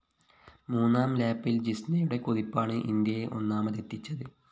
മൂന്നാം ലാപ്പില്‍ ജിസ്‌നയുടെ കുതിപ്പാണ് ഇന്ത്യയെ ഒന്നാമതെത്തിച്ചത്